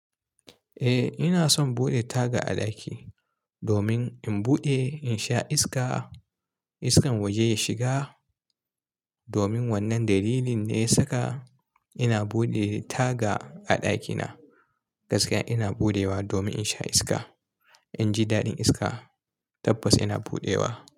Eh ina son buɗe taga a ɗaki domin in buɗe in sha iska, iskan waje ya shiga. Domin wannan dalilin ne ya saka ina buɗe taga a ɗakina. Gaskiya ina buɗewa domin in sha iska. In ji daɗin iska tabbas ina buɗewa.